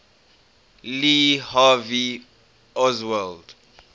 lee harvey oswald